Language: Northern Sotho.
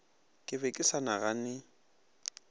ke be ke sa nagane